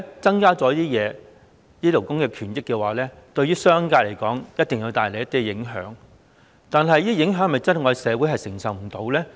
代理主席，勞工權益的改善無疑對商界有一定影響，但這些影響是否社會真的承受不了？